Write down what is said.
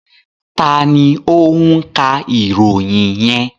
Ta ni ó ń ka ìròyìn yẹn?